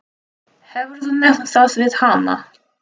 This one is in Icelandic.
Hefurðu nefnt það við hana?